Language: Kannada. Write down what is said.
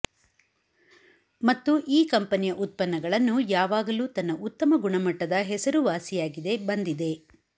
ಮತ್ತು ಈ ಕಂಪನಿಯ ಉತ್ಪನ್ನಗಳನ್ನು ಯಾವಾಗಲೂ ತನ್ನ ಉತ್ತಮ ಗುಣಮಟ್ಟದ ಹೆಸರುವಾಸಿಯಾಗಿದೆ ಬಂದಿದೆ